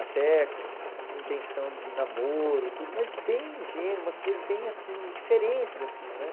Até com intenção de namoro, tudo, mas bem ingênuo, umas coisas bem, assim, diferentes, assim, né?